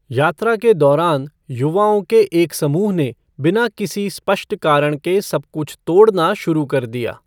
यात्रा के दौरान, युवाओं के एक समूह ने बिना किसी स्पष्ट कारण के सब कुछ तोड़ना शुरू कर दिया।